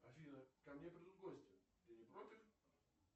афина ко мне придут гости ты не против